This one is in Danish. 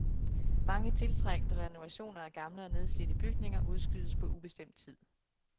Mange tiltrængte renovationer af gamle og nedslidte bygninger udskydes på ubestemt tid.